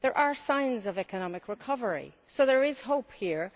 There are signs of economic recovery, so there is hope here.